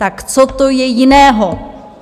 Tak co to je jiného?